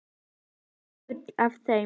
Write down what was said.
Loftið fer úr þeim.